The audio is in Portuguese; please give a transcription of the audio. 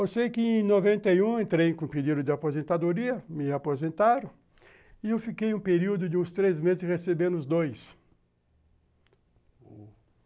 Eu sei que em noventa e um entrei com o período de aposentadoria, me aposentaram, e eu fiquei um período de uns três meses recebendo os dois.